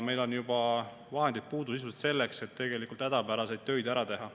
Meil on sisuliselt juba puudu ka vahendeid selleks, et hädapäraseid töid ära teha.